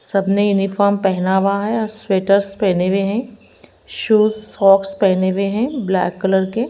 सबने यूनिफॉर्म पहना हुआ है और स्वेटर्स पहने हुए हैं शूज सॉक्स पहने हुए हैं ब्लैक कलर के।